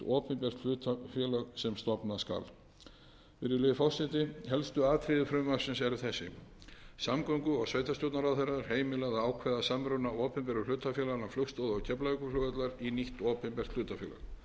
opinbert hlutafélag sem stofna skal virðulegi forseti helstu atriði frumvarpsins eru þessi samgöngu og sveitarstjórnarráðherra er heimilað að ákveða samruna opinberu hlutafélaganna flugstoða og keflavíkurflugvallar í nýtt opinbert hlutafélag